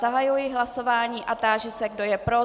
Zahajuji hlasování a táži se, kdo je pro.